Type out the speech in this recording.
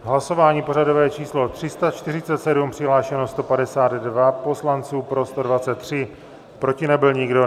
Hlasování pořadové číslo 347, přihlášeno 152 poslanců, pro 123, proti nebyl nikdo.